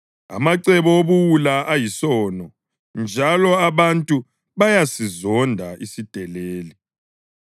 Amacebo obuwula ayisono, njalo abantu bayasizonda isideleli.